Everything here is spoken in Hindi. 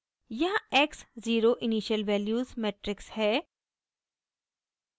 यहाँ x zero initial values matrix है